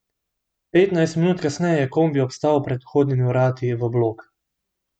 Petnajst minut kasneje je kombi obstal pred vhodnimi vrati v blok.